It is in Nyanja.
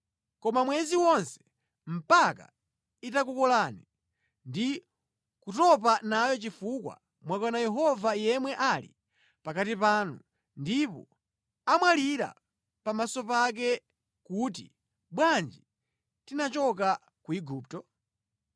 koma mwezi wonse, mpaka itakukolani ndi kutopa nayo chifukwa mwakana Yehova yemwe ali pakati panu ndipo mwalira pamaso pake kuti, ‘Bwanji tinachoka ku Igupto?’ ”